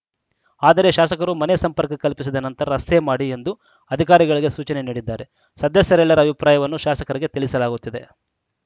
ಆದರೆ ಶಾಸಕರು ಮನೆ ಸಂಪರ್ಕ ಕಲ್ಪಿಸಿದ ನಂತರ ರಸ್ತೆ ಮಾಡಿ ಎಂದು ಅಧಿಕಾರಿಗಳಿಗೆ ಸೂಚನೆ ನೀಡಿದ್ದಾರೆ ಸದಸ್ಯರೆಲ್ಲರ ಅಭಿಪ್ರಾಯವನ್ನು ಶಾಸಕರಿಗೆ ತಿಳಿಸಲಾಗುತ್ತದೆ